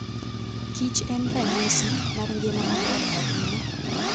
kich en ranyisi mar ngima maber ahinya.